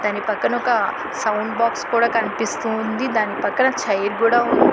దానీ పక్కన ఒక sound box కూడా కనిపిస్తోంది దాని పక్కన చైర్ కూడా ఉంది.